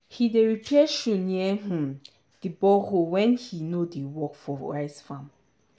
he dey repair shoe near um di borehole when he no dey work for rice farm.